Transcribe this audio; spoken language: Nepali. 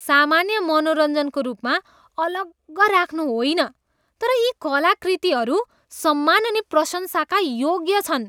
सामान्य मनोरञ्जनको रूपमा अलग्ग राख्नु होइन तर यी कलाकृतिहरू सम्मान अनि प्रशंसाका योग्य छन्।